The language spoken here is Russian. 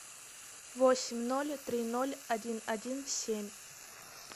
восемь ноль три ноль один один семь